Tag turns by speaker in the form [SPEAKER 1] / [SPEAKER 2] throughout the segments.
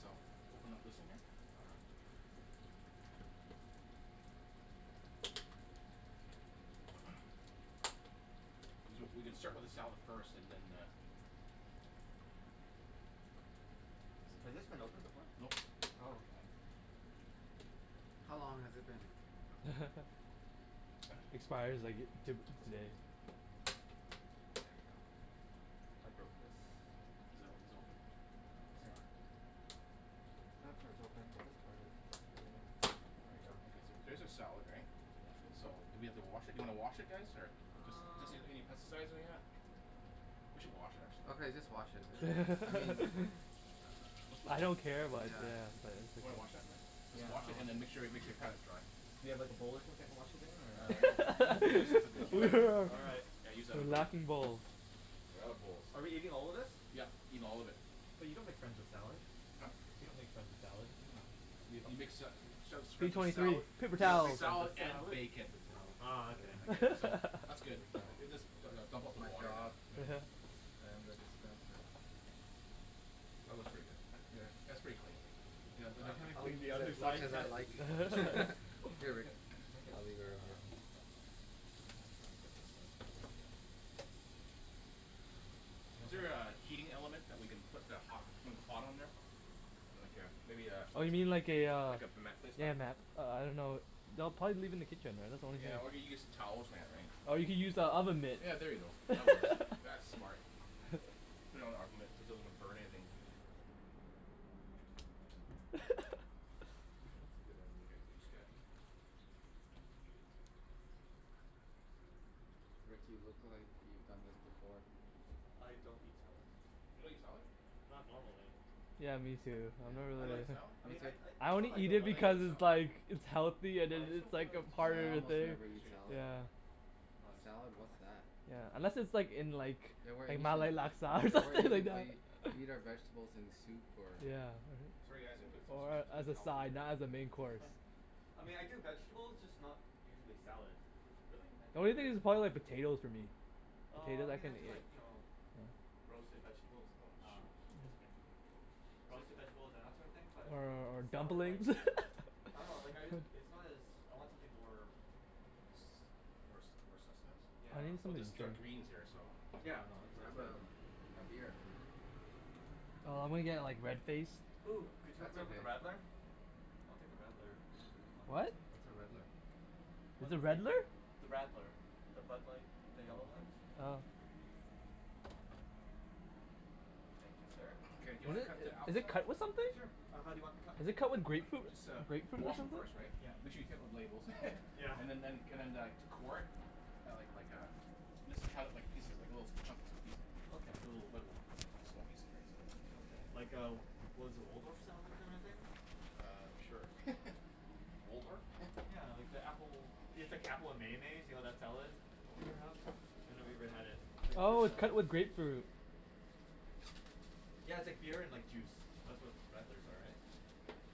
[SPEAKER 1] So open up this one here.
[SPEAKER 2] All right.
[SPEAKER 1] We c- we can start with the salad first, and then uh
[SPEAKER 2] Has this been opened before?
[SPEAKER 1] Nope.
[SPEAKER 2] Oh, okay.
[SPEAKER 3] How long has it been?
[SPEAKER 4] Expires like to- today.
[SPEAKER 2] There we go. I broke this.
[SPEAKER 1] Is it o- is it open?
[SPEAKER 2] No, it's
[SPEAKER 1] Here.
[SPEAKER 2] not. That part's open, but this part is just really, there we go.
[SPEAKER 1] There's a salad right? So do we have to wash it, do you wanna wash it guys or? Just
[SPEAKER 2] Um
[SPEAKER 1] doesn't need any pesticides or anything like that. We should wash it actually.
[SPEAKER 3] Okay just wash it, I mean,
[SPEAKER 1] Let's
[SPEAKER 3] uh,
[SPEAKER 1] just
[SPEAKER 4] I
[SPEAKER 1] wash
[SPEAKER 4] don't
[SPEAKER 1] it.
[SPEAKER 4] care, but
[SPEAKER 3] yeah.
[SPEAKER 4] yeah.
[SPEAKER 1] Wanna wash that man? Just
[SPEAKER 2] Yeah,
[SPEAKER 1] wash it
[SPEAKER 2] I'll wash
[SPEAKER 1] and then
[SPEAKER 2] that.
[SPEAKER 1] make sure make sure you pat it dry.
[SPEAKER 2] Do you have like a bowl or something to wash it in or?
[SPEAKER 1] Uh, no, you you just need the bowl.
[SPEAKER 2] All right.
[SPEAKER 1] Yeah, use that other
[SPEAKER 4] The laughing
[SPEAKER 1] one.
[SPEAKER 4] bowl.
[SPEAKER 1] We're out of bowls.
[SPEAKER 2] Are we eating all of this?
[SPEAKER 1] Yep, eat all of it.
[SPEAKER 2] But you don't make friends with salad.
[SPEAKER 1] Huh?
[SPEAKER 2] You don't make friends with salad.
[SPEAKER 1] I dunno. Y- you make sa- sa- sa-
[SPEAKER 4] P
[SPEAKER 1] friends
[SPEAKER 4] twenty
[SPEAKER 1] with
[SPEAKER 4] three.
[SPEAKER 1] sala-
[SPEAKER 4] Paper
[SPEAKER 2] You don't
[SPEAKER 4] towel.
[SPEAKER 2] make friends
[SPEAKER 1] salad
[SPEAKER 2] with
[SPEAKER 1] and
[SPEAKER 2] salad.
[SPEAKER 1] bacon.
[SPEAKER 3] Paper towel.
[SPEAKER 2] Oh okay.
[SPEAKER 3] Yeah.
[SPEAKER 1] Okay so, that's good.
[SPEAKER 3] Paper towels.
[SPEAKER 1] Just du- du- dump out
[SPEAKER 3] It's
[SPEAKER 1] the
[SPEAKER 3] my
[SPEAKER 1] water now.
[SPEAKER 3] job.
[SPEAKER 2] Yeah.
[SPEAKER 3] I am the dispenser.
[SPEAKER 1] That works for you guys.
[SPEAKER 3] Here.
[SPEAKER 1] That's pretty clean. Yeah, then
[SPEAKER 2] I
[SPEAKER 1] I can
[SPEAKER 2] haven't
[SPEAKER 3] I'll
[SPEAKER 2] cleaned the
[SPEAKER 3] use
[SPEAKER 2] other
[SPEAKER 3] as much
[SPEAKER 2] side of
[SPEAKER 3] as I
[SPEAKER 2] that.
[SPEAKER 3] like.
[SPEAKER 2] Here,
[SPEAKER 3] Here
[SPEAKER 2] lick
[SPEAKER 3] Rick.
[SPEAKER 2] it. Lick it.
[SPEAKER 3] I'll leave it right here.
[SPEAKER 2] You
[SPEAKER 1] Is
[SPEAKER 2] want
[SPEAKER 1] there
[SPEAKER 2] my
[SPEAKER 1] a heating element that we can put the hot hot on there? Like a, maybe a
[SPEAKER 4] Oh you mean like a uh,
[SPEAKER 1] Like a mat placement.
[SPEAKER 4] yeah ma- uh I dunno. No, probably leave it in the kitchen. That's the only thing
[SPEAKER 1] Yeah
[SPEAKER 4] I can
[SPEAKER 1] or we get some towel or something right.
[SPEAKER 4] Or you can use the oven mitt.
[SPEAKER 1] Yeah, there you go. That works. That's smart. Put it on an oven mitt so it doesn't burn anything.
[SPEAKER 3] That's a good idea.
[SPEAKER 1] Okay, I just got
[SPEAKER 3] Rick, you look like you've done this before.
[SPEAKER 2] I don't eat salad.
[SPEAKER 1] You don't eat salad?
[SPEAKER 2] Not normally.
[SPEAKER 4] Yeah, me too. I've never
[SPEAKER 2] I
[SPEAKER 1] You
[SPEAKER 4] really
[SPEAKER 2] like,
[SPEAKER 1] don't
[SPEAKER 2] I
[SPEAKER 4] like
[SPEAKER 3] Me
[SPEAKER 2] mean I
[SPEAKER 3] too.
[SPEAKER 2] I,
[SPEAKER 4] I
[SPEAKER 2] it's not that
[SPEAKER 4] only
[SPEAKER 2] I
[SPEAKER 4] eat
[SPEAKER 2] don't
[SPEAKER 4] it
[SPEAKER 2] like it.
[SPEAKER 4] because
[SPEAKER 1] like
[SPEAKER 4] it's
[SPEAKER 1] salad?
[SPEAKER 4] like it's healthy and
[SPEAKER 2] But I just
[SPEAKER 4] it's
[SPEAKER 2] don't feel
[SPEAKER 4] like
[SPEAKER 2] like
[SPEAKER 4] a
[SPEAKER 3] Yeah,
[SPEAKER 4] part
[SPEAKER 3] I
[SPEAKER 4] of the
[SPEAKER 3] almost
[SPEAKER 4] thing.
[SPEAKER 3] never eat salad.
[SPEAKER 4] Yeah.
[SPEAKER 2] Oh, yes.
[SPEAKER 3] Salad,
[SPEAKER 2] Oh,
[SPEAKER 3] what's
[SPEAKER 2] nice.
[SPEAKER 3] that?
[SPEAKER 4] Yeah. Unless it's like in like
[SPEAKER 3] Yeah we're eating,
[SPEAKER 4] Malay laksa or
[SPEAKER 3] yeah we're
[SPEAKER 4] something like
[SPEAKER 3] eating the,
[SPEAKER 4] that.
[SPEAKER 3] we eat our vegetables in soup or
[SPEAKER 4] Yeah.
[SPEAKER 1] Sorry guys, I'm gonna put s- s- s- s-
[SPEAKER 4] Or
[SPEAKER 1] s- some of
[SPEAKER 4] as
[SPEAKER 1] the
[SPEAKER 4] a
[SPEAKER 1] salad food
[SPEAKER 4] side,
[SPEAKER 1] here.
[SPEAKER 4] not as a main course.
[SPEAKER 2] I mean I do vegetables, just not usually salad.
[SPEAKER 1] Really?
[SPEAKER 2] I
[SPEAKER 4] The
[SPEAKER 2] do
[SPEAKER 4] only
[SPEAKER 2] other
[SPEAKER 4] thing is
[SPEAKER 2] vegetables
[SPEAKER 4] probably like
[SPEAKER 2] first.
[SPEAKER 4] potatoes for me.
[SPEAKER 2] Oh I
[SPEAKER 4] Potatoes I
[SPEAKER 2] mean I
[SPEAKER 4] can
[SPEAKER 2] do
[SPEAKER 4] eat.
[SPEAKER 2] like, you know roasted vegetables,
[SPEAKER 1] Oh,
[SPEAKER 2] uh,
[SPEAKER 1] shoot.
[SPEAKER 2] that's okay. Roasted vegetables and that sort of thing, but
[SPEAKER 4] Or or
[SPEAKER 2] salad, like
[SPEAKER 4] dumplings?
[SPEAKER 2] I dunno, like, I, it's not as, I want something more
[SPEAKER 1] More
[SPEAKER 2] s-
[SPEAKER 1] s- , more sustenance?
[SPEAKER 2] yeah.
[SPEAKER 4] I need
[SPEAKER 1] Well
[SPEAKER 4] some
[SPEAKER 1] this is our greens here so.
[SPEAKER 2] Yeah, no it's it's
[SPEAKER 3] Grab
[SPEAKER 2] good.
[SPEAKER 3] a a beer.
[SPEAKER 4] Nah, I'm gonna get like red faced.
[SPEAKER 2] Ooh, could you hook
[SPEAKER 3] That's
[SPEAKER 2] me up with a
[SPEAKER 3] okay.
[SPEAKER 2] radler? I'll take a radler, if there is one.
[SPEAKER 4] What?
[SPEAKER 3] What's a redler?
[SPEAKER 4] What's
[SPEAKER 2] One
[SPEAKER 4] a
[SPEAKER 2] of the,
[SPEAKER 4] redler?
[SPEAKER 2] the radler. The Bud Light, the yellow
[SPEAKER 3] Oh.
[SPEAKER 2] one?
[SPEAKER 4] Oh.
[SPEAKER 2] Thank you sir.
[SPEAKER 1] Okay do you wanna cut the
[SPEAKER 4] Is
[SPEAKER 1] apples
[SPEAKER 4] it
[SPEAKER 1] now?
[SPEAKER 4] cut with something?
[SPEAKER 2] Sure, uh how do you want them cut?
[SPEAKER 4] Is it cut with grapefruit,
[SPEAKER 1] Just uh
[SPEAKER 4] grapefruit or
[SPEAKER 1] wash 'em
[SPEAKER 4] something?
[SPEAKER 1] first right.
[SPEAKER 2] Yeah.
[SPEAKER 1] Make sure you take off the labels.
[SPEAKER 2] Yeah.
[SPEAKER 1] And then and and then uh core it, like like a mis- cut it like little pieces, like little chunks and piece.
[SPEAKER 2] Okay.
[SPEAKER 1] Like little small pieces right
[SPEAKER 2] Okay,
[SPEAKER 1] so.
[SPEAKER 2] like a, what is it, Waldorf style kind of thing?
[SPEAKER 1] Uh, sure. Waldorf?
[SPEAKER 2] Yeah like the apple,
[SPEAKER 1] Oh
[SPEAKER 2] it's
[SPEAKER 1] sh-
[SPEAKER 2] like apple and mayonnaise, you know that salad that
[SPEAKER 1] Oh
[SPEAKER 2] people
[SPEAKER 1] okay.
[SPEAKER 2] have? I've never even had it. It's like a fruit
[SPEAKER 4] Oh, it's
[SPEAKER 2] salad.
[SPEAKER 4] cut with grapefruit.
[SPEAKER 2] Yeah, it's like beer and like juice. That's what radlers are, right?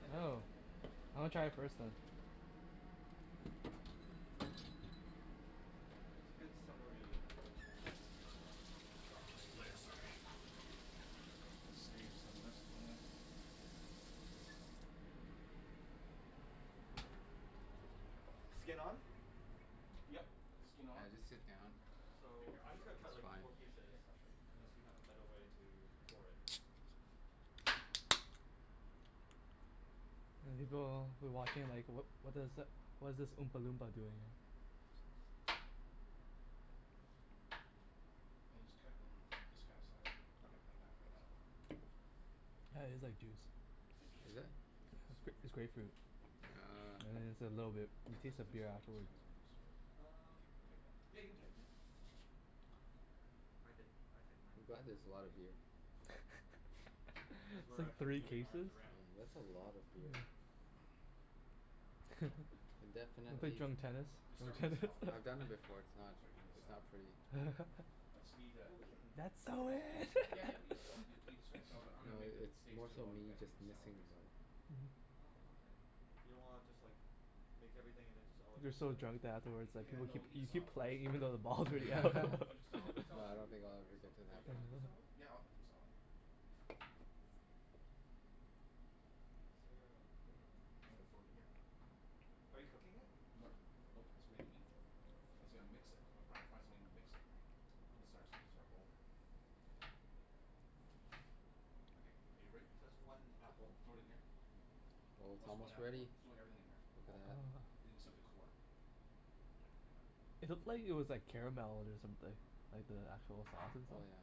[SPEAKER 2] I think.
[SPEAKER 4] Oh. I wanna try it first then.
[SPEAKER 2] It's a good summery
[SPEAKER 1] Gonna save some of this, why not?
[SPEAKER 2] Skin on?
[SPEAKER 1] Yep.
[SPEAKER 2] Okay.
[SPEAKER 1] Skin
[SPEAKER 3] Yeah,
[SPEAKER 1] on.
[SPEAKER 3] I'll just sit down.
[SPEAKER 1] Here
[SPEAKER 2] So,
[SPEAKER 1] here,
[SPEAKER 2] I'm
[SPEAKER 1] I'll
[SPEAKER 2] just gonna
[SPEAKER 1] show
[SPEAKER 2] cut
[SPEAKER 3] It's
[SPEAKER 2] like
[SPEAKER 3] fine.
[SPEAKER 2] four pieces,
[SPEAKER 1] Here, I'll show
[SPEAKER 2] unless
[SPEAKER 1] you.
[SPEAKER 2] you have a better way to core it.
[SPEAKER 4] The people who are watching are like, "What what does, what is this oompa loompa doing?"
[SPEAKER 1] And then just cut it in this kind of size.
[SPEAKER 2] Okay.
[SPEAKER 1] Like that, right so.
[SPEAKER 4] Yeah, it's like juice.
[SPEAKER 3] Is it?
[SPEAKER 1] I think it's a little
[SPEAKER 4] It's grape-
[SPEAKER 1] slippery
[SPEAKER 4] it's
[SPEAKER 1] here.
[SPEAKER 4] grapefruit.
[SPEAKER 2] Yeah.
[SPEAKER 3] Ah.
[SPEAKER 4] Yeah it's a little bit, it tastes like
[SPEAKER 1] it's
[SPEAKER 4] beer
[SPEAKER 1] coming it's
[SPEAKER 4] afterwards.
[SPEAKER 1] coming on loose or?
[SPEAKER 2] Um.
[SPEAKER 1] Think
[SPEAKER 2] Yeah,
[SPEAKER 1] I
[SPEAKER 2] you
[SPEAKER 1] can
[SPEAKER 2] can
[SPEAKER 1] tighten it?
[SPEAKER 2] tighten it.
[SPEAKER 1] Ah.
[SPEAKER 2] I did, I tightened mine
[SPEAKER 3] I'm
[SPEAKER 2] a
[SPEAKER 3] glad
[SPEAKER 2] couple
[SPEAKER 3] there's
[SPEAKER 2] times
[SPEAKER 3] a lot
[SPEAKER 2] already.
[SPEAKER 3] of beer.
[SPEAKER 2] Cuz
[SPEAKER 4] It's
[SPEAKER 2] we're
[SPEAKER 4] like
[SPEAKER 2] actually
[SPEAKER 4] three
[SPEAKER 2] moving arms
[SPEAKER 4] cases?
[SPEAKER 3] I
[SPEAKER 2] around
[SPEAKER 3] mean, that's a lot of beer. Can definitely
[SPEAKER 4] Wanna play
[SPEAKER 3] s-
[SPEAKER 4] drunk tennis?
[SPEAKER 1] We'll start with the
[SPEAKER 4] Drunk
[SPEAKER 1] salad first,
[SPEAKER 3] I've
[SPEAKER 1] eh?
[SPEAKER 3] done
[SPEAKER 4] tennis.
[SPEAKER 3] that before,
[SPEAKER 2] Okay.
[SPEAKER 3] it's not
[SPEAKER 1] Start eating the
[SPEAKER 3] it's
[SPEAKER 1] salad.
[SPEAKER 3] not pretty.
[SPEAKER 1] I just need a
[SPEAKER 2] Well, we can
[SPEAKER 4] That's
[SPEAKER 2] we
[SPEAKER 4] so
[SPEAKER 2] can all eat
[SPEAKER 4] in!
[SPEAKER 2] together
[SPEAKER 1] Yeah
[SPEAKER 2] right?
[SPEAKER 1] yeah, but I'm
[SPEAKER 3] No,
[SPEAKER 1] going make the
[SPEAKER 3] i- it's
[SPEAKER 1] steaks
[SPEAKER 3] more
[SPEAKER 1] too
[SPEAKER 3] so
[SPEAKER 1] while you
[SPEAKER 3] me
[SPEAKER 1] guys eat
[SPEAKER 3] just
[SPEAKER 1] the salad,
[SPEAKER 3] missing the
[SPEAKER 1] right so.
[SPEAKER 3] ball.
[SPEAKER 2] Oh, okay. You don't wanna just like make everything and then just all eat
[SPEAKER 4] You're so
[SPEAKER 2] together?
[SPEAKER 4] drunk that afterwards like
[SPEAKER 1] Yeah
[SPEAKER 4] people
[SPEAKER 1] no,
[SPEAKER 4] keep,
[SPEAKER 1] eat the
[SPEAKER 4] you keep
[SPEAKER 1] salad first,
[SPEAKER 4] playing even though the
[SPEAKER 1] and then
[SPEAKER 4] balls
[SPEAKER 1] the.
[SPEAKER 4] all go
[SPEAKER 1] Finish the salad, the
[SPEAKER 3] No,
[SPEAKER 1] salad will
[SPEAKER 3] I
[SPEAKER 1] be
[SPEAKER 3] don't
[SPEAKER 1] really
[SPEAKER 3] think
[SPEAKER 1] quick
[SPEAKER 3] I'll
[SPEAKER 1] right
[SPEAKER 3] ever
[SPEAKER 1] so.
[SPEAKER 3] get to
[SPEAKER 2] Are you
[SPEAKER 3] that
[SPEAKER 2] gonna
[SPEAKER 3] point.
[SPEAKER 2] eat the salad?
[SPEAKER 1] Yeah, I'll have some salad.
[SPEAKER 2] Okay. Is there a bowl?
[SPEAKER 1] I'm gonna throw it in here.
[SPEAKER 2] Okay. Are you cooking it?
[SPEAKER 1] Nope, nope, it's ready to eat. I said I'll mix it. Gotta fi- fi- find something to mix it right. This is ours, this is our bowl here. Okay. Are you ready?
[SPEAKER 2] So that's one apple.
[SPEAKER 1] Throw it in here.
[SPEAKER 3] Oh
[SPEAKER 1] Oh
[SPEAKER 3] it's
[SPEAKER 1] so one
[SPEAKER 3] almost
[SPEAKER 1] apple one?
[SPEAKER 3] ready.
[SPEAKER 1] Throw everything in here.
[SPEAKER 3] Look at
[SPEAKER 1] All.
[SPEAKER 3] that.
[SPEAKER 1] Oh except the core.
[SPEAKER 2] Yeah. I got it.
[SPEAKER 4] It looked like it was like caramel or something. Like the actual sauce and stuff.
[SPEAKER 3] Oh yeah.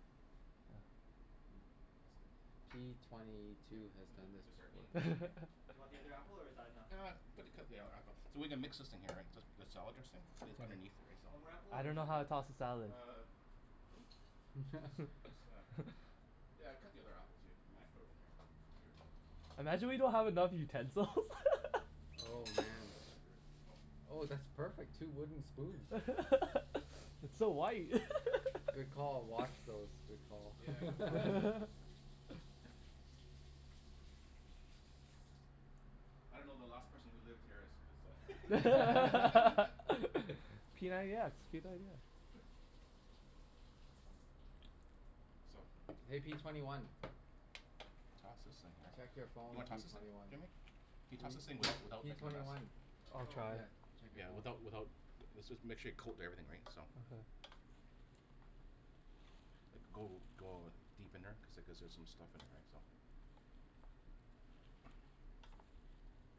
[SPEAKER 1] That's good.
[SPEAKER 3] P twenty
[SPEAKER 1] Yep.
[SPEAKER 3] two has
[SPEAKER 1] We
[SPEAKER 3] done
[SPEAKER 1] we
[SPEAKER 3] this
[SPEAKER 1] can start eating
[SPEAKER 3] before.
[SPEAKER 1] this in here.
[SPEAKER 2] Do you want the other apple or is that enough?
[SPEAKER 1] Ah, put the, cut the other app- so we're gonna mix this thing here right, just, just the salad dressing that's underneath it, right so.
[SPEAKER 2] One more apple
[SPEAKER 4] I
[SPEAKER 2] or is
[SPEAKER 4] don't know
[SPEAKER 2] that
[SPEAKER 4] how
[SPEAKER 2] good?
[SPEAKER 4] to toss the salad.
[SPEAKER 1] Uh, just, just uh, yeah cut the other apple too, we can throw it in here.
[SPEAKER 4] Imagine we don't have enough utensils.
[SPEAKER 3] Oh man.
[SPEAKER 1] That's screwed.
[SPEAKER 3] Oh, that's perfect. Two wooden spoons.
[SPEAKER 4] It's so white.
[SPEAKER 3] Good call. Wash those. Good call.
[SPEAKER 1] Yeah, I gotta wash. I don't know, the last person who lived here is is a
[SPEAKER 4] p ninety x, p ninety x.
[SPEAKER 1] So
[SPEAKER 3] Hey, P twenty one.
[SPEAKER 1] Toss this thing here.
[SPEAKER 3] Check your
[SPEAKER 1] You
[SPEAKER 3] phone,
[SPEAKER 1] wanna
[SPEAKER 3] P
[SPEAKER 1] toss this thing?
[SPEAKER 3] twenty one.
[SPEAKER 1] Jimmy, can you
[SPEAKER 3] P P
[SPEAKER 1] toss this thing without without
[SPEAKER 3] P
[SPEAKER 1] making a
[SPEAKER 3] twenty
[SPEAKER 1] mess?
[SPEAKER 3] one.
[SPEAKER 4] I'll
[SPEAKER 2] Oh.
[SPEAKER 4] try.
[SPEAKER 1] Yeah. Without without, this was, make sure you coat everything right, so. Like go go deep in there cuz like there's some stuff in there, right? So.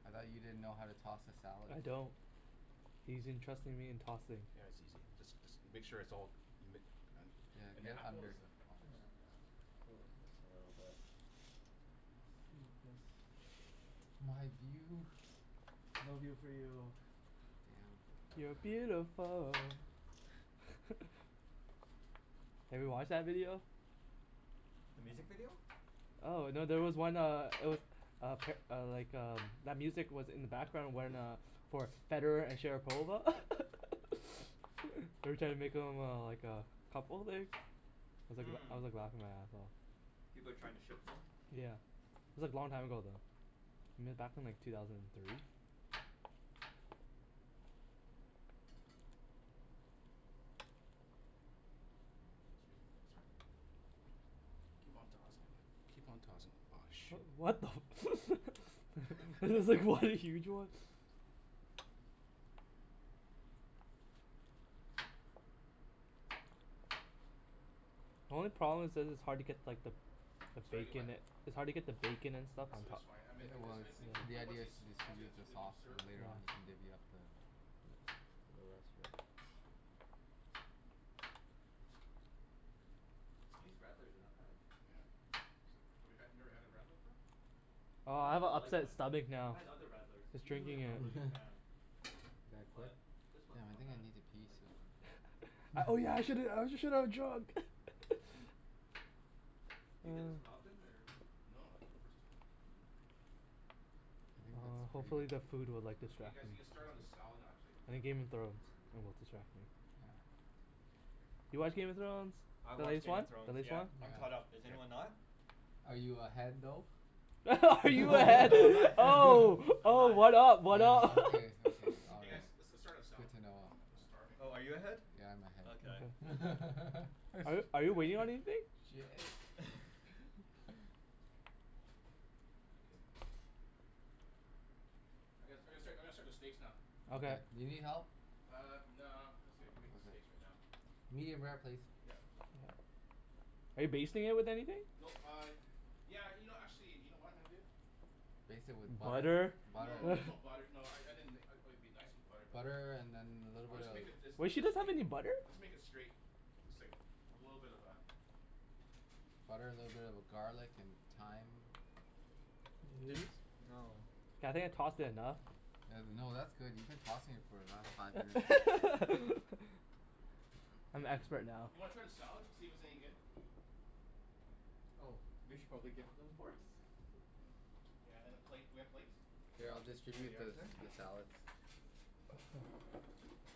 [SPEAKER 3] I thought you didn't know how to toss a salad.
[SPEAKER 4] I don't. He's entrusting me in tossing.
[SPEAKER 1] Yeah, it's easy. Just just make sure it's all ma- , and
[SPEAKER 3] Yeah.
[SPEAKER 1] and the
[SPEAKER 3] Get
[SPEAKER 1] apple is
[SPEAKER 3] under.
[SPEAKER 1] a, I'll fix, yeah
[SPEAKER 3] My view.
[SPEAKER 4] No view for you.
[SPEAKER 3] Damn.
[SPEAKER 4] You're beautiful. Have you watched that video?
[SPEAKER 2] The music video?
[SPEAKER 4] Oh no. There was one uh, it was uh uh, like uh, that music was in the background when uh, for Federer and Sharapova they're trying to make them uh like uh couple like, I
[SPEAKER 2] Hmm.
[SPEAKER 4] was like laughing my ass off.
[SPEAKER 2] People are trying to shit them?
[SPEAKER 4] Yeah. It was like long time ago though. I mean back in like two thousand and three.
[SPEAKER 1] Excuse me. Sorry. Keep on tossing. Keep on tossing. Whoa, shoot.
[SPEAKER 4] What the I was like, what are you doing? The only problem is that it's hard to get like the the
[SPEAKER 1] It's hard to get
[SPEAKER 4] bacon
[SPEAKER 1] what?
[SPEAKER 4] a- it's hard to get the bacon and stuff.
[SPEAKER 1] I said it's fine. I mean
[SPEAKER 3] It it was. The idea is to distribute the sauce
[SPEAKER 1] served.
[SPEAKER 3] and later on you can divvy up the the rest of it.
[SPEAKER 2] These radlers are not bad.
[SPEAKER 1] Yeah. It's like, we had, you've never had a radler before?
[SPEAKER 4] Oh,
[SPEAKER 2] Not
[SPEAKER 4] I
[SPEAKER 2] the
[SPEAKER 4] have a
[SPEAKER 2] Bud Light
[SPEAKER 4] upset
[SPEAKER 2] one.
[SPEAKER 4] stomach
[SPEAKER 2] I've
[SPEAKER 4] now.
[SPEAKER 2] had other
[SPEAKER 4] I
[SPEAKER 2] radlers and
[SPEAKER 4] was
[SPEAKER 2] usually
[SPEAKER 4] drinking
[SPEAKER 2] I'm not
[SPEAKER 4] it.
[SPEAKER 2] really a fan.
[SPEAKER 3] You gonna quit?
[SPEAKER 2] But this one
[SPEAKER 3] Damn,
[SPEAKER 2] is
[SPEAKER 3] I
[SPEAKER 2] not
[SPEAKER 3] think I
[SPEAKER 2] bad.
[SPEAKER 3] need to pee
[SPEAKER 2] I like this
[SPEAKER 3] soon.
[SPEAKER 2] one.
[SPEAKER 4] Oh yeah. I shouldn't, I shouldn't have drunk.
[SPEAKER 2] Do you get this one often or?
[SPEAKER 1] No, first time.
[SPEAKER 3] I think that's
[SPEAKER 2] Uh
[SPEAKER 3] pretty good.
[SPEAKER 2] hopefully, the food will
[SPEAKER 1] You guys, you
[SPEAKER 2] like
[SPEAKER 1] can start
[SPEAKER 2] distract
[SPEAKER 1] on the
[SPEAKER 2] me.
[SPEAKER 1] salad
[SPEAKER 2] I
[SPEAKER 1] actually.
[SPEAKER 2] think Game of Thrones will distract me.
[SPEAKER 3] Yeah.
[SPEAKER 4] You watch Game of Thrones?
[SPEAKER 2] I
[SPEAKER 4] The
[SPEAKER 2] watch
[SPEAKER 4] latest
[SPEAKER 2] Game
[SPEAKER 4] one?
[SPEAKER 2] of
[SPEAKER 4] The
[SPEAKER 2] Thrones.
[SPEAKER 4] latest
[SPEAKER 2] Yeah.
[SPEAKER 4] one?
[SPEAKER 2] I'm caught up. Is anyone
[SPEAKER 1] Here.
[SPEAKER 2] not?
[SPEAKER 3] Are you ahead though?
[SPEAKER 4] Are you
[SPEAKER 2] Oh
[SPEAKER 4] ahead,
[SPEAKER 2] no, I'm not ahead.
[SPEAKER 4] oh,
[SPEAKER 2] I'm not
[SPEAKER 4] oh,
[SPEAKER 2] ahead.
[SPEAKER 4] what up, what
[SPEAKER 3] Oh
[SPEAKER 4] up?
[SPEAKER 3] okay. Okay. All
[SPEAKER 1] Hey guys,
[SPEAKER 3] right.
[SPEAKER 1] let's let's start with salad.
[SPEAKER 3] Good to know.
[SPEAKER 1] I'm I'm starving.
[SPEAKER 2] Oh, are you ahead?
[SPEAKER 3] Yeah, I'm ahead.
[SPEAKER 2] Okay.
[SPEAKER 4] Are you are you waiting on anything?
[SPEAKER 3] Shit.
[SPEAKER 1] I'm gonna I'm gonna start I'm gonna start the steaks now.
[SPEAKER 3] Okay. Do you need help?
[SPEAKER 1] Uh, no, I'm just gonna, I'll make the steaks right now.
[SPEAKER 3] Medium rare, please.
[SPEAKER 1] Yep.
[SPEAKER 4] Are you basting it with anything?
[SPEAKER 1] Nope uh, yeah, you know actually, you know what I'm gonna do?
[SPEAKER 3] Baste it with butter?
[SPEAKER 4] Butter?
[SPEAKER 1] No, there's no butter. No, I I mean like it it'd be nice with butter but
[SPEAKER 3] Butter and then a little
[SPEAKER 1] I'm
[SPEAKER 3] bit
[SPEAKER 1] just
[SPEAKER 3] of
[SPEAKER 1] gonna make it this uh
[SPEAKER 2] Wait, she
[SPEAKER 1] that's
[SPEAKER 2] doesn't have
[SPEAKER 1] make
[SPEAKER 2] any butter?
[SPEAKER 1] I'll just make it straight. It's like a little bit of a
[SPEAKER 3] Butter, little bit of garlic and thyme.
[SPEAKER 2] This. No. Yeah I think I tossed it enough.
[SPEAKER 3] No no, that's good. You've been tossing it for the last five minutes so
[SPEAKER 4] I'm expert
[SPEAKER 1] Do
[SPEAKER 4] now.
[SPEAKER 1] you wanna try the salad to see if it's any good?
[SPEAKER 2] Oh, we should probably give them forks.
[SPEAKER 1] Yeah and a plate. Do we have plates?
[SPEAKER 3] Here, I'll
[SPEAKER 2] Here you
[SPEAKER 3] distribute
[SPEAKER 2] are,
[SPEAKER 3] the
[SPEAKER 2] sir.
[SPEAKER 3] the salads.
[SPEAKER 2] Do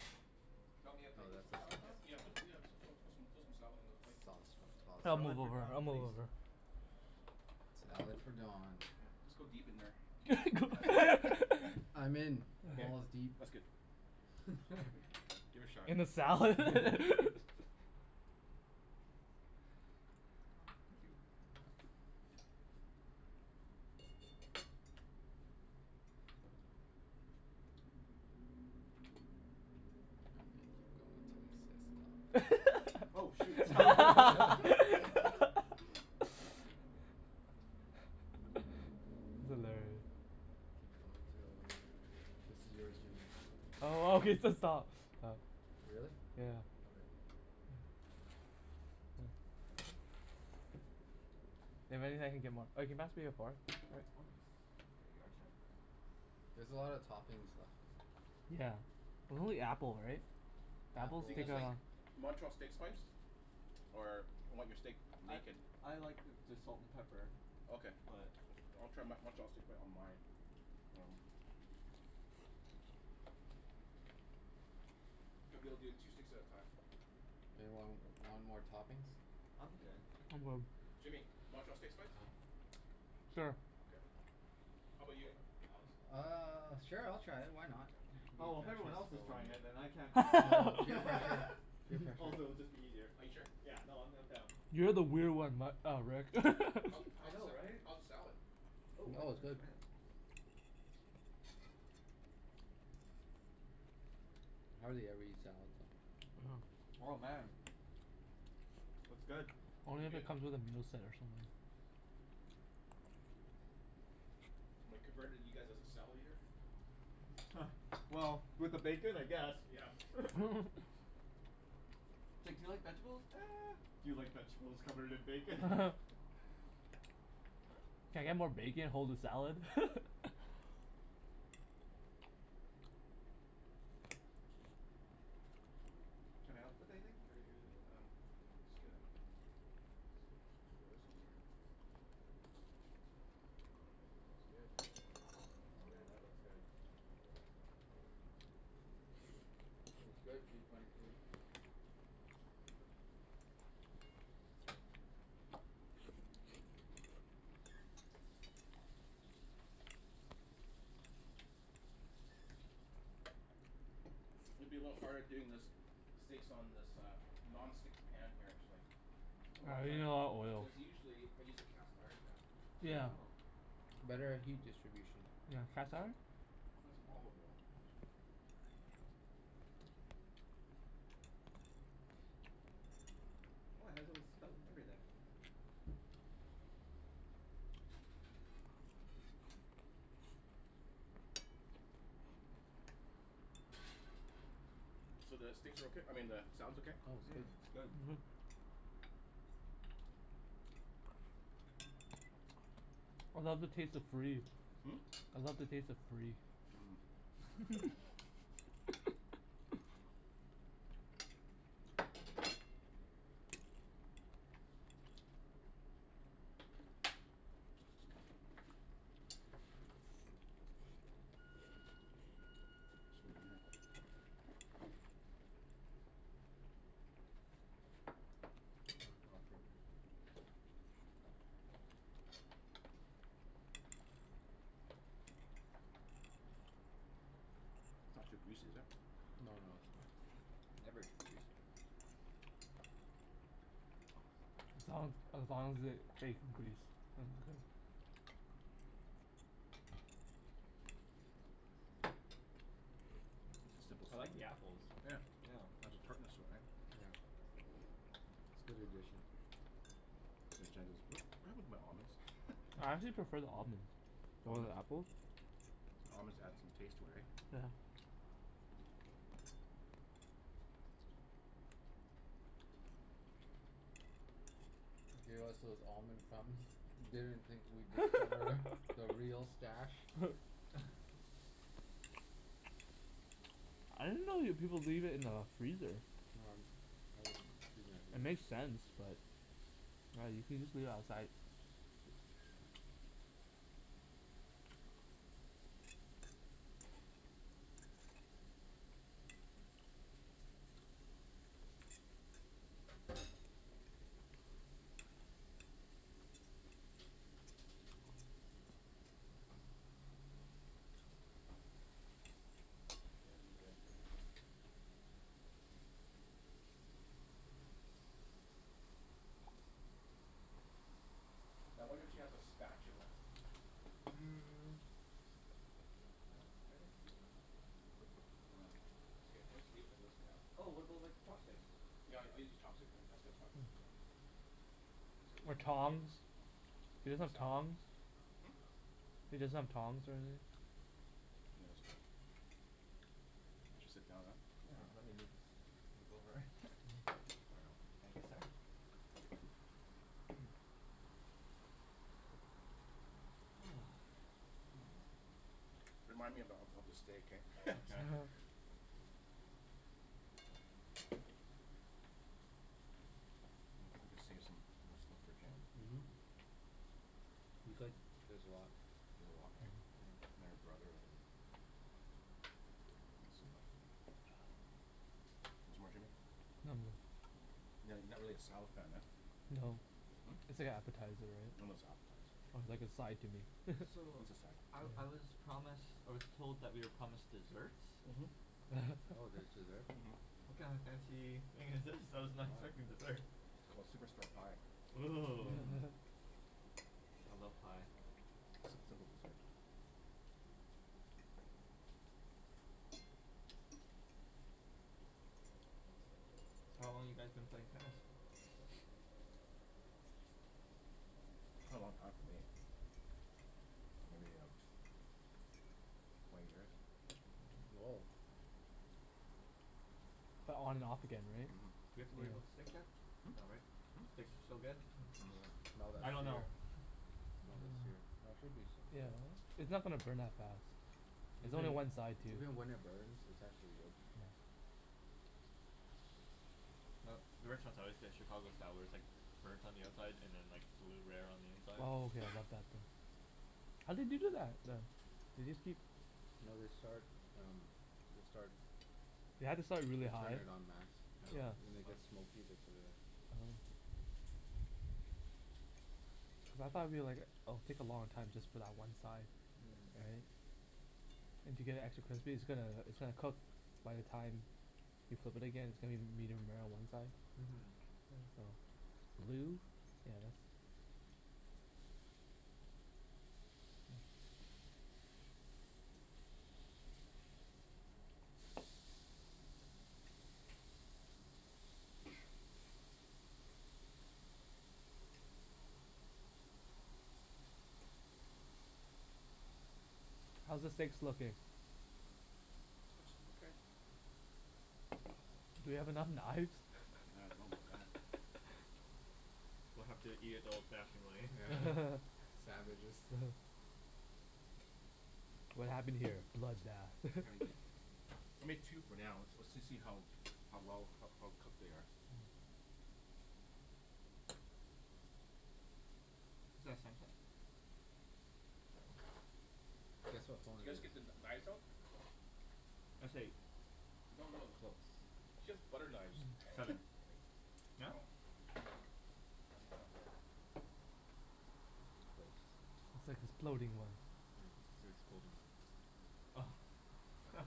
[SPEAKER 2] you want me to
[SPEAKER 3] Oh,
[SPEAKER 2] put you
[SPEAKER 3] that's
[SPEAKER 2] some
[SPEAKER 3] the
[SPEAKER 2] salad, Don?
[SPEAKER 3] sauce.
[SPEAKER 1] Yeah. Put, yeah, put some put some salad on the plate.
[SPEAKER 3] Salt from tossed
[SPEAKER 4] I'll
[SPEAKER 3] salad.
[SPEAKER 2] Salad
[SPEAKER 4] move
[SPEAKER 2] for
[SPEAKER 4] over. I'll
[SPEAKER 2] Donald
[SPEAKER 4] move
[SPEAKER 2] please.
[SPEAKER 4] over.
[SPEAKER 3] Salad for Don.
[SPEAKER 1] Just go deep in there.
[SPEAKER 3] I'm in.
[SPEAKER 1] Okay.
[SPEAKER 3] Balls deep.
[SPEAKER 1] That's good. Give it a shot.
[SPEAKER 4] In the salad?
[SPEAKER 2] Oh, thank you.
[SPEAKER 3] I'm gonna keep going until he says stop.
[SPEAKER 2] Oh, shoot.
[SPEAKER 4] That's
[SPEAKER 2] Stop.
[SPEAKER 4] hilarious.
[SPEAKER 3] Keep going until. This is yours Jimmy. I'll
[SPEAKER 4] Oh, he
[SPEAKER 3] take that one.
[SPEAKER 4] said stop.
[SPEAKER 3] Really?
[SPEAKER 4] Yeah.
[SPEAKER 3] Okay.
[SPEAKER 4] That means I can get more. Oh, can you pass me a fork?
[SPEAKER 2] Oh, here you are, sir.
[SPEAKER 3] There's a lot of toppings left.
[SPEAKER 4] Yeah. And only apple, right?
[SPEAKER 1] Do you
[SPEAKER 3] Apples.
[SPEAKER 1] guys like Montreal steak spice? Or you want your steak
[SPEAKER 2] I
[SPEAKER 1] naked?
[SPEAKER 2] I like just salt and pepper.
[SPEAKER 1] Okay.
[SPEAKER 2] But
[SPEAKER 1] I'll try Mon- Montreal steak on my. Oh. I'll be able to do two steaks at a time.
[SPEAKER 3] Anyone w- want more toppings?
[SPEAKER 2] I'm okay.
[SPEAKER 4] I'm good.
[SPEAKER 1] Jimmy, Montreal steak spice?
[SPEAKER 4] Sure.
[SPEAKER 1] K. How about you Alex?
[SPEAKER 3] Uh, sure I'll try it, why not?
[SPEAKER 1] Okay.
[SPEAKER 3] Be
[SPEAKER 2] Oh, if everyone
[SPEAKER 3] adventurous
[SPEAKER 2] else is
[SPEAKER 3] for one
[SPEAKER 2] trying
[SPEAKER 3] day.
[SPEAKER 2] it then I can't be left
[SPEAKER 3] Oh,
[SPEAKER 2] out.
[SPEAKER 3] peer pressure. Peer pressure.
[SPEAKER 2] Also, it'd be just easier.
[SPEAKER 1] Are you sure?
[SPEAKER 2] Yeah. No, I'm I'm down.
[SPEAKER 4] You're the weird one, Matt, uh Rick.
[SPEAKER 2] I
[SPEAKER 1] How's the
[SPEAKER 2] know,
[SPEAKER 1] sa-
[SPEAKER 2] right?
[SPEAKER 1] how's the salad?
[SPEAKER 2] Oh, I'm
[SPEAKER 3] Oh, it's
[SPEAKER 2] gonna
[SPEAKER 3] good.
[SPEAKER 2] try it.
[SPEAKER 3] I hardly ever eat salad though.
[SPEAKER 4] Uh huh.
[SPEAKER 2] Oh, man. It's good.
[SPEAKER 1] Is it
[SPEAKER 4] Only if
[SPEAKER 1] good?
[SPEAKER 4] it comes with a moose head or something.
[SPEAKER 1] Am I converted you guys as a salad eater?
[SPEAKER 2] Well, with the bacon I guess.
[SPEAKER 1] Yeah.
[SPEAKER 2] It's like, do you like vegetables? Do you like vegetables covered in bacon?
[SPEAKER 4] Can I get more bacon, hold the salad?
[SPEAKER 2] Can I help with anything or are you
[SPEAKER 1] Um, It's good. I'll put this on here. It's good.
[SPEAKER 2] Oh man, that looks good.
[SPEAKER 3] That's good, P twenty two.
[SPEAKER 1] Okay. It's gonna be a little bit harder doing this, steaks on this uh non-stick pan here actually.
[SPEAKER 2] Oh, why
[SPEAKER 4] Ah,
[SPEAKER 2] is
[SPEAKER 4] you
[SPEAKER 2] that?
[SPEAKER 4] need a lot of oils.
[SPEAKER 1] Because usually I use a cast iron pan.
[SPEAKER 3] Yeah.
[SPEAKER 2] Oh.
[SPEAKER 3] Better at heat distribution.
[SPEAKER 4] You have
[SPEAKER 1] And
[SPEAKER 4] cast
[SPEAKER 1] so,
[SPEAKER 4] iron?
[SPEAKER 1] I'll find some olive oil.
[SPEAKER 2] Oh, it has a little spout and everything.
[SPEAKER 1] So, the steaks are okay? I mean the salad's okay?
[SPEAKER 3] Oh, it's good.
[SPEAKER 2] Mmm, it's good.
[SPEAKER 4] I love the taste of free.
[SPEAKER 1] Hmm?
[SPEAKER 4] I love the taste of free.
[SPEAKER 1] Hmm. It's over here. It's not too greasy, is it?
[SPEAKER 3] No, no, it's fine.
[SPEAKER 2] Never too greasy.
[SPEAKER 4] As long as as long as there's bacon grease, I'm good.
[SPEAKER 1] This is simple
[SPEAKER 2] I
[SPEAKER 1] salad.
[SPEAKER 2] like the apples.
[SPEAKER 1] Yeah.
[SPEAKER 2] Yeah.
[SPEAKER 1] It has a tartness all right.
[SPEAKER 3] Yeah. It's good addition.
[SPEAKER 1] So Jen goes, "What happened to my almonds?"
[SPEAKER 4] I actually prefer the almonds over the apple.
[SPEAKER 1] Almonds add some taste to it, right?
[SPEAKER 4] Yeah.
[SPEAKER 3] Gave us those almond crumbs. Didn't think we'd discover the real stash.
[SPEAKER 4] I didn't know you people leave it in the freezer. It makes sense but Right, you could just leave it outside.
[SPEAKER 1] Now I wonder if she has a spatula. Yeah. eat this for now.
[SPEAKER 2] Oh, what about like chopsticks?
[SPEAKER 1] Yeah, I I use the chopsticks. Then So
[SPEAKER 4] Or
[SPEAKER 1] leave it, here.
[SPEAKER 4] tongs? You
[SPEAKER 1] Eat
[SPEAKER 4] guys
[SPEAKER 1] my
[SPEAKER 4] use
[SPEAKER 1] salad.
[SPEAKER 4] tongs?
[SPEAKER 2] Hm?
[SPEAKER 4] You just have tongs
[SPEAKER 1] Yeah, that's okay. I'll just sit down now.
[SPEAKER 2] Yeah. Let me move, move over.
[SPEAKER 1] There you go.
[SPEAKER 2] Thank you, sir.
[SPEAKER 1] Remind me ab- of of the steak eh.
[SPEAKER 2] Okay.
[SPEAKER 1] I think we can save some stuff for Jen. Mhm.
[SPEAKER 3] You could. There's a lot.
[SPEAKER 1] There's a lot, right? And your brother. Want some more, Jimmy?
[SPEAKER 4] No, I'm good.
[SPEAKER 1] No? You're not you're not really a salad fan, huh?
[SPEAKER 4] No. It's like appetizer,
[SPEAKER 1] It's
[SPEAKER 4] right?
[SPEAKER 1] an appetizer.
[SPEAKER 4] It's like a side to me.
[SPEAKER 2] So
[SPEAKER 1] It's a side.
[SPEAKER 2] I I was promised, I was told that we are promised desserts?
[SPEAKER 1] Mhm.
[SPEAKER 3] Oh, there's dessert?
[SPEAKER 1] Mhm.
[SPEAKER 2] What kind of fancy thing is this? freaking dessert.
[SPEAKER 1] It's called Superstore pie.
[SPEAKER 2] Ooh.
[SPEAKER 3] Mmm.
[SPEAKER 2] I love pie.
[SPEAKER 1] Simp- simple dessert.
[SPEAKER 2] So, how long you guys been playing tennis?
[SPEAKER 1] A long time for me. Maybe, uh, twenty years.
[SPEAKER 3] Oh.
[SPEAKER 4] But on and off again, right?
[SPEAKER 1] Mhm.
[SPEAKER 2] Do we have to worry about the steak yet?
[SPEAKER 1] Hmm?
[SPEAKER 2] No, right? Steaks
[SPEAKER 1] Hmm?
[SPEAKER 2] are still good.
[SPEAKER 3] Smell that
[SPEAKER 4] I don't know.
[SPEAKER 3] sear. Smell the sear. No, it should be
[SPEAKER 4] It's not gonna burn that fast. There's only
[SPEAKER 3] Even
[SPEAKER 4] one side too.
[SPEAKER 3] even when it burns, it's actually good.
[SPEAKER 2] Uh the restaurants I always get a Chicago sour, it's like burnt on the outside and then like blue rare on the inside.
[SPEAKER 4] Oh yeah, I love that thing. How do they do that then? They just keep
[SPEAKER 3] No. They start um, they start
[SPEAKER 4] You have to start really
[SPEAKER 3] They
[SPEAKER 4] hot.
[SPEAKER 3] turn it on max.
[SPEAKER 4] Yeah.
[SPEAKER 3] When they get smoky, they put it in.
[SPEAKER 4] Oh. Cuz I thought it'll be like it'll take a long time just for that one side. Right?
[SPEAKER 2] Mmm.
[SPEAKER 4] And to get it actually crispy, it's gonna it's gonna cook by the time you flip it again, it's gonna be medium rare on one side.
[SPEAKER 2] Mhm.
[SPEAKER 4] Blue?
[SPEAKER 2] Yes.
[SPEAKER 4] How's the steaks looking?
[SPEAKER 3] It's okay.
[SPEAKER 4] Do we have enough knives?
[SPEAKER 1] Yeah, I don't know about that. We'll have to eat it the old fashioned way.
[SPEAKER 3] Yeah. Savages.
[SPEAKER 4] What happened here? Bloodbath.
[SPEAKER 1] I mean, I made two for now. Let's let's see how how well, how cooked they are.
[SPEAKER 2] Is that Samsung?
[SPEAKER 3] Guess what phone
[SPEAKER 1] You
[SPEAKER 3] it
[SPEAKER 1] guys
[SPEAKER 3] is.
[SPEAKER 1] get the kn- knives out?
[SPEAKER 2] That's right.
[SPEAKER 1] She has butter knives.
[SPEAKER 2] Seven. No?
[SPEAKER 3] Close.
[SPEAKER 4] It's like the exploding one.
[SPEAKER 3] Yeah, it's the exploding one.
[SPEAKER 2] Oh.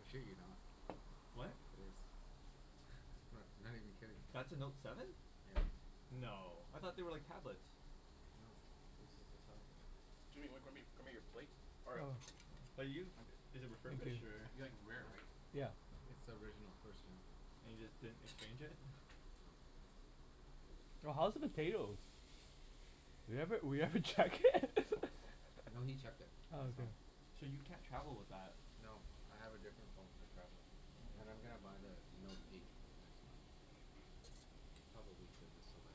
[SPEAKER 3] I shit you not.
[SPEAKER 2] What?
[SPEAKER 3] It is. I'm not not even kidding.
[SPEAKER 2] That's a Note seven?
[SPEAKER 3] Yeah.
[SPEAKER 2] No. I thought they were like tablets?
[SPEAKER 3] No. This is the size of it.
[SPEAKER 1] Jimmy, w- grab me grab me your plate.
[SPEAKER 2] Oh, 'bout you? It is refurbished or?
[SPEAKER 1] You like it rare, right?
[SPEAKER 4] Yeah.
[SPEAKER 3] It's the original. First gen.
[SPEAKER 2] And you just didn't exchange it?
[SPEAKER 4] No. Oh, how's the potatoes? We haven't, we haven't checked it.
[SPEAKER 3] I know he checked it. I
[SPEAKER 4] Oh.
[SPEAKER 3] saw him.
[SPEAKER 2] So you can't travel with that?
[SPEAKER 3] No. I have a different phone for traveling and I'm gonna buy the Note eight next month. Probably give this away.